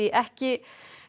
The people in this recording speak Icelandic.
ekki